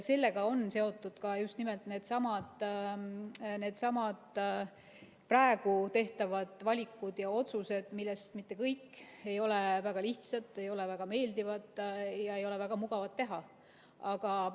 Sellega on seotud ka just nimelt needsamad praegu tehtavad valikud ja otsused, millest mitte kõik ei ole väga lihtsad, ei ole väga meeldivad ega ole väga mugavad teha.